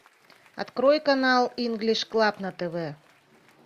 открой канал инглиш клаб на тв